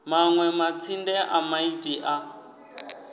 manwe matsinde a maiti a